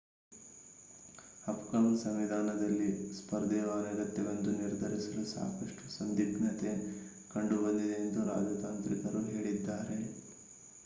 ಅಫ್ಘಾನ್ ಸಂವಿಧಾನದಲ್ಲಿ ಸ್ಪರ್ಧೆಯು ಅನಗತ್ಯವೆಂದು ನಿರ್ಧರಿಸಲು ಸಾಕಷ್ಟು ಸಂದಿಗ್ಧತೆ ಕಂಡುಬಂದಿದೆ ಎಂದು ರಾಜತಾಂತ್ರಿಕರು ಹೇಳಿದ್ದಾರೆ